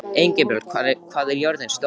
Engilbjört, hvað er jörðin stór?